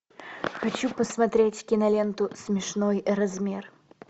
хочу посмотреть киноленту смешной размер